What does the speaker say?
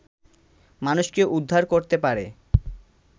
মানুষকে উদ্ধার করতে পারে